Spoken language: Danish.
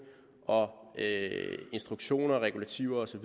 instruktioner regulativer